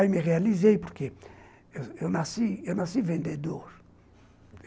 Aí me realizei, porque eu nasci eu nasci vendedor.